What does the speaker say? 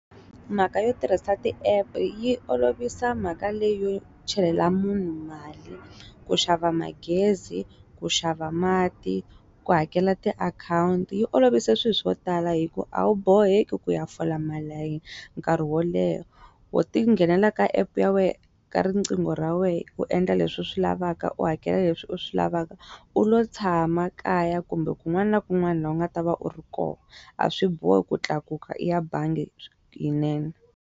Mhaka yo tirhisa ti app yi olovisa mhaka leyi yo chelela munhu mali ku xava magezi ku xava mati ku hakela ti akhawunti yi olovise swilo swo tala hi ku a wu boheki ku ya fola malayini nkarhi wo leha wo ti nghenelela ka epu ya wehe ka riqingho ra we u endla leswi u swi lavaka u hakela leswi u swi lavaka u lo tshama kaya kumbe kun'wana na kun'wana laha u nga ta va u ri kona a swi bohi ku tlakuka u ya bangi yinene.